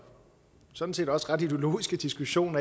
sådan set også ret ideologiske diskussion